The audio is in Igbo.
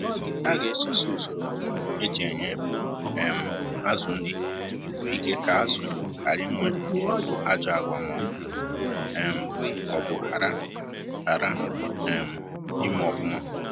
A ga esosi usoro e ji enye um azụ nri ike ka azụ hara ịnwe ajọ agwa ma um ọ bụ hara hara um ime ọfụma